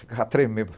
Ficava tremendo.